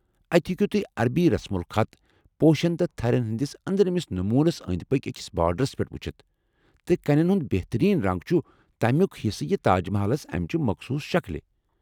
اتہ ہیٚکِو تُہۍ عربی رسم الخط پوشن تہٕ تھرین ہٕنٛدس أنٛدرِمِس نموٗنس انٛدۍ پٔکۍ أکس باڈرس پٮ۪ٹھ وُچھِتھ ، تہٕ کنٮ۪ن ہٕنٛدِ بہترین رنٛگ چھِ تمُِیٚك حِصہٕ یہِ تاج محلس امِچہِ مخصوص شکٕل ۔